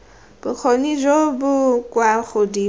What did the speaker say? bokgoni jo bo kwa godimo